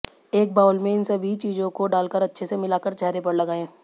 एक बाउल में इन सभी चीजों को डालकर अच्छे से मिलाकर चेहरे पर लगाएं